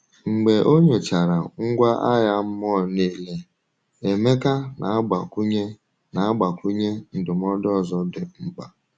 um Mgbe o nyochachara ngwa agha mmụọ niile, Emeka na-agbakwunye na-agbakwunye ndụmọdụ ọzọ dị mkpa.